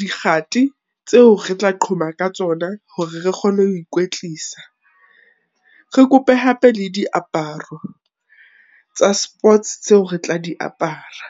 dikgati tseo re tla qhoma ka tsona hore re kgone ho ikwetlisa. Re kope hape le diaparo tsa sports tseo re tla di apara.